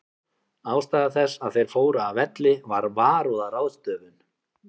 Ástæða þess að þeir fóru af velli var varúðarráðstöfun.